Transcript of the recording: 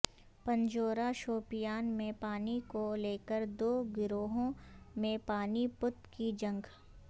پنجورہ شوپیان میں پانی کو لیکر دو گروہوں میںپانی پت کی جنگ